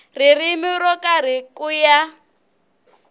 ririmi ro karhi ku ya